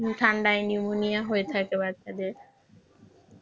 ঠান্ডায় Pneumonia হয়ে যাই বাচ্চাদের